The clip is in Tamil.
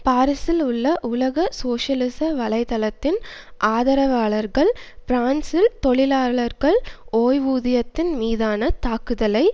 பாரிசில் உள்ள உலக சோசியலிச வலை தளத்தின் ஆதரவாளர்கள் பிரான்சில் தொழிலாளர்கள் ஓய்வூதியத்தின் மீதான தாக்குதலை